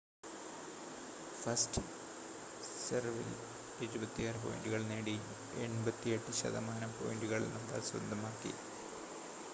first സെർവിൽ 76 പോയിൻ്റുകൾ നേടി 88% പോയിൻ്റുകൾ നദാൽ സ്വന്തമാക്കി